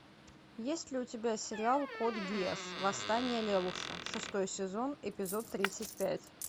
есть ли у тебя сериал код гиас восстание лелуша шестой сезон эпизод тридцать пять